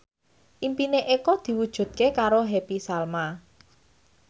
impine Eko diwujudke karo Happy Salma